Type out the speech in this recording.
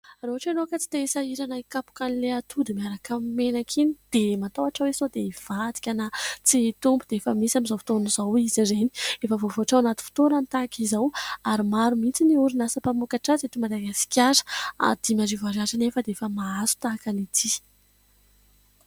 Raha ohatra ianao ka tsy te hisahirana hikapoka an'ilay atody miaraka amin'ny menaka iny dia matahotra hoe sao dia hivadika na tsy hitombo, dia efa misy amin'izao fotoana izao izy ireny, efa voavoatra ao anaty fitoerany tahaka izao ary maro mihitsy ny orinasa mpamokatra azy eto Madagasikara. Dimy arivo ariary nefa dia efa mahazo tahaka an'ity.